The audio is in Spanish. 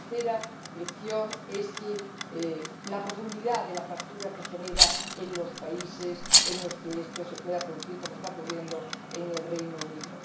la tercera lección es la profundidad de la fractura que genera en los países en los que esto se pueda producir, como está ocurriendo en el Reino Unido.